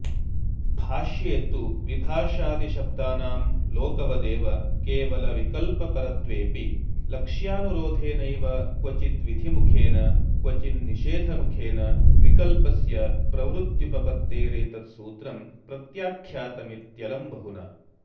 भाष्ये तु विभाषादिशब्दानां लोकवदेव केवलविकल्पपरत्वेऽपि लक्ष्यानुरोधेनैव क्वचिद्विधिमुखेन क्वचिन्निषेधमुखेन विकल्पस्य प्रवृत्युपपत्तेरेतत्सूत्रं प्रत्याख्यातमित्यलं बहुना